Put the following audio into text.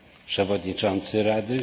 Przewodniczący Rady?